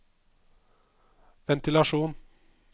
ventilasjon